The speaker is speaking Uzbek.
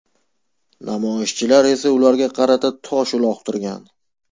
Namoyishchilar esa ularga qarata tosh uloqtirgan.